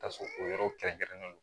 Ta sɔrɔ o yɔrɔ kɛrɛnkɛrɛnnen don